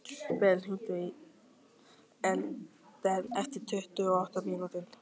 Ver, hringdu í Elíden eftir tuttugu og átta mínútur.